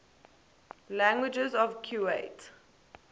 languages of kuwait